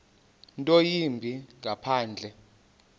nto yimbi ngaphandle